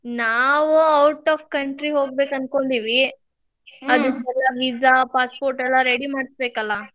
ನಾವ್ out of country ಹೋಗ್ಬೇಕ್ ಅನ್ಕೊಂಡೇವಿ visa, passport ಎಲ್ಲಾ ready ಮಾಡಿಸ್ಬೇಕಲ್ಲಾ.